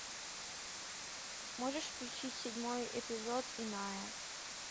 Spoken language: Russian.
можешь включить седьмой эпизод иная